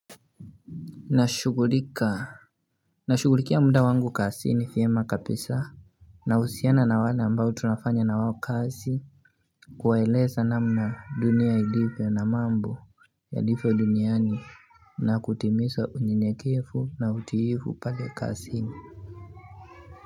Nashugulika Nashugulikia mda wangu kasi ni vyema kapisa na husiana na wala ambao tunafanya na wao kasi kuwaeleza namna dunia ilivyo na mambo yalivyo duniani na kutimiza unyenyekefu na utiivu pale kasi ni.